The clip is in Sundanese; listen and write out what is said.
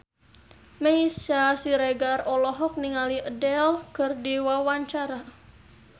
Meisya Siregar olohok ningali Adele keur diwawancara